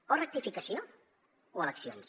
o rectificació o eleccions